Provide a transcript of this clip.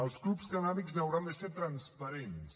els clubs cannàbics hauran de ser transparents